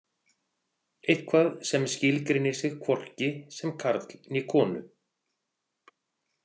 Eitthvað sem skilgreinir sig hvorki sem karl né konu.